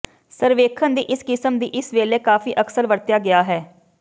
ਸਰਵੇਖਣ ਦੀ ਇਸ ਕਿਸਮ ਦੀ ਇਸ ਵੇਲੇ ਕਾਫ਼ੀ ਅਕਸਰ ਵਰਤਿਆ ਗਿਆ ਹੈ